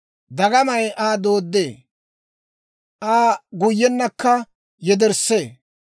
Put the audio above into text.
«Dagamay Aa dooddee; Aa guyyenakka yederssee;